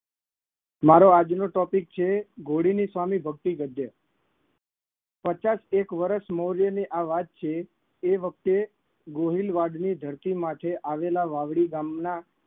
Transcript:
મારો આજનો topic છે ઘોડીની સ્વામી ભક્તિ ગરજે પચાસેક વર્ષ મોરેની આ વાત છે એ વખતે ગોહિલવાડની ધરતી માથે આવેલા વાવડી ગામના